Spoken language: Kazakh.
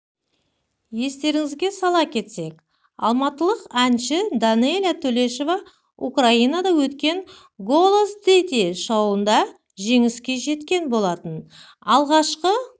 естеріңізге сала кетсек алматылық әнші данэлия төлешова украинада өткен голос діти шоуында жеңіске жеткен болатын алғашқы